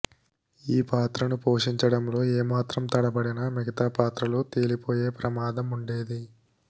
ఈ పాత్రను పోషించడంలో ఏమాత్రం తడబడినా మిగితా పాత్రలు తేలిపోయే ప్రమాదం ఉండేది